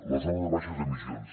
la zona de baixes emissions